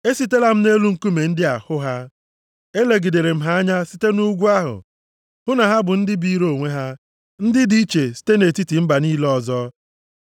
Esitela m nʼelu nkume ndị a hụ ha. Elegidere m ha anya site nʼugwu ahụ, hụ na ha bụ ndị biri onwe ha, ndị dị iche site nʼetiti mba niile ọzọ.